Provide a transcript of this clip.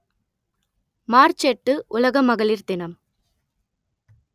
March எட்டு உலக மகளிர் தினம்